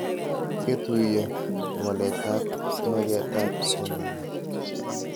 Ketuyo waletab magetab somanet